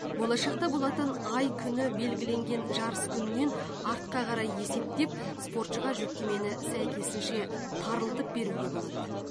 болашақта болатын ай күні белгіленген жарыс күнінен артқа қарай есептеп спортшыға жүктемені сәйкесінше тарылтып беруге болады